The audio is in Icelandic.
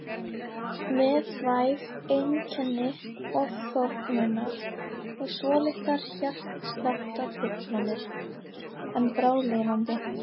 Með væg einkenni ofþornunar og svolitlar hjartsláttartruflanir en bráðlifandi.